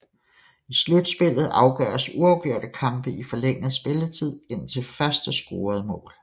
I slutspillet afgøres uafgjorte kampe i forlænget spilletid indtil første scorede mål